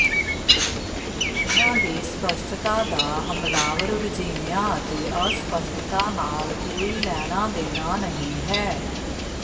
ਉਨ੍ਹਾਂ ਦੀ ਸਪੱਸ਼ਟਤਾ ਦਾ ਹਮਲਾਵਰ ਰੁਝੇਵਿਆਂ ਅਤੇ ਅਸਪੱਸ਼ਟਤਾ ਨਾਲ ਕੋਈ ਲੈਣਾ ਦੇਣਾ ਨਹੀਂ ਹੈ